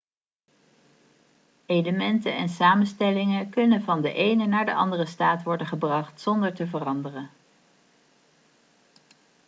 elementen en samenstellingen kunnen van de ene naar de andere staat worden gebracht zonder te veranderen